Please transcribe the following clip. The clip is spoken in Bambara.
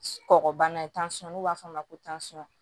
Kɔgɔbana tansɔn n'u b'a f'a ma ko tansɔn